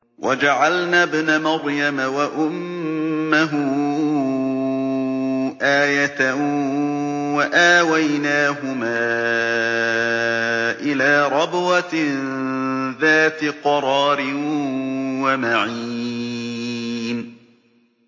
وَجَعَلْنَا ابْنَ مَرْيَمَ وَأُمَّهُ آيَةً وَآوَيْنَاهُمَا إِلَىٰ رَبْوَةٍ ذَاتِ قَرَارٍ وَمَعِينٍ